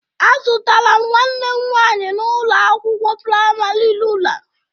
Azụtara m nwanne m nwaanyi n'ụlọ akwụkwọ praịmarị rula